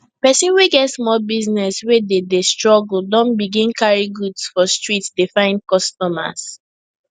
persin wey get small business wey dey dey struggle don begin carry goods for street dey find customers